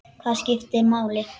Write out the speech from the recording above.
Hvað skiptir máli?